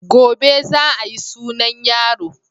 Gobe za a yi sunan yaro.